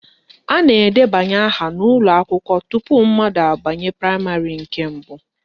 A na-edebanye aha n'ụlọakwụkwọ tupu mmadụ abanye praịmarị nke mbụ